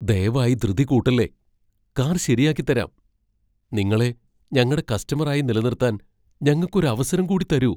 ദയവായി ധൃതി കൂട്ടല്ലേ. കാർ ശരിയാക്കിത്തരാം. നിങ്ങളെ ഞങ്ങടെ കസ്റ്റമർ ആയി നിലനിർത്താൻ ഞങ്ങക്ക് ഒരവസരം കൂടിത്തരൂ.